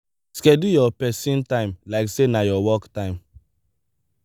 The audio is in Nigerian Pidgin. schedule your person time like sey na your work time